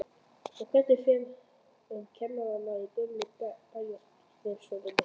Og hvernig fer um kennarana í gömlu bæjarskrifstofunum?